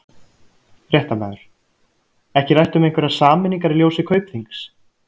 Fréttamaður: Ekki rætt um einhverjar sameiningar í ljósi Kaupþings?